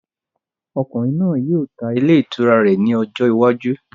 Ọkùnrin náà yóò tá ilé itúrá rẹ ní ọjọ iwájú